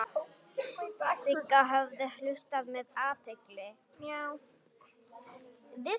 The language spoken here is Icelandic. Sigga höfðu hlustað með athygli þegar hún rakti sögu þeirra.